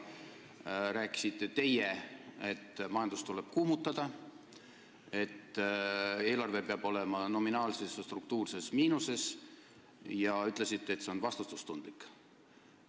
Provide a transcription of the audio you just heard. Teie rääkisite siis, et majandust tuleb kuumutada, eelarve peab olema nominaalses ja struktuurses miinuses, ja ütlesite, et see on vastutustundlik.